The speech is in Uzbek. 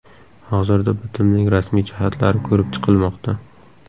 Hozirda bitimning rasmiy jihatlari ko‘rib chiqilmoqda.